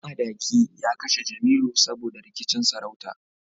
Madaki ya kashe Jemilu saboda rikicin sarauta